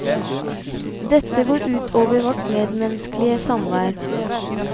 Dette går ut over vårt medmenneskelige samvær.